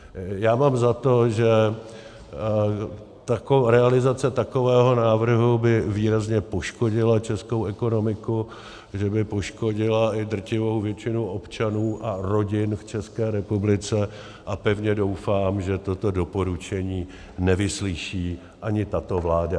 Já mám za to, že realizace takového návrhu by výrazně poškodila českou ekonomiku, že by poškodila i drtivou většinu občanů a rodin v České republice, a pevně doufám, že toto doporučení nevyslyší ani tato vláda.